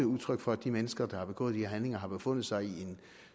udtryk for at de mennesker der har begået de her handlinger har befundet sig i en